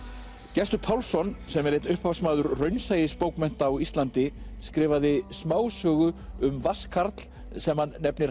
Gestur Pálsson sem er einn upphafsmaður raunsæisbókmennta á Íslandi skrifaði smásögu um vatnskarl sem hann nefnir